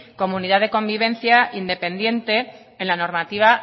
comunidad de convivencia independiente en la normativa